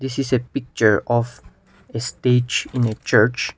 it is a picture of a stage in a church.